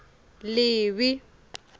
livi